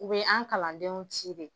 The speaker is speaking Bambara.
U bɛ an kalandenw ci de.